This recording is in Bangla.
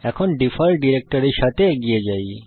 এখন ডিফল্ট ডিরেক্টরির সাথে এগিয়ে যাই